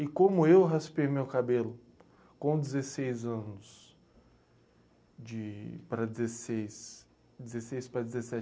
E como eu raspei meu cabelo com dezesseis anos, para dezesseis, de dezesseis para dezessete